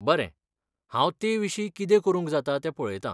बरें, हांव तेविशीं कितें करूंक जाता तें पळयता.